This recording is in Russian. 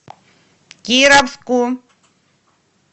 кировску